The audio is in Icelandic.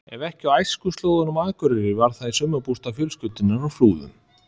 Ef ekki á æskuslóðunum á Akureyri var það í sumarbústað fjölskyldunnar á Flúðum.